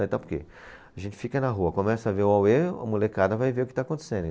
Até porque a gente fica na rua, começa a ver o auê, a molecada vai ver o que está acontecendo.